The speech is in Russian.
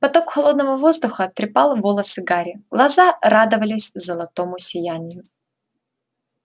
поток холодного воздуха трепал волосы гарри глаза радовались золотому сиянию